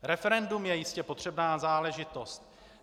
Referendum je jistě potřebná záležitost.